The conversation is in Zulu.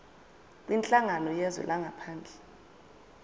kwinhlangano yezwe langaphandle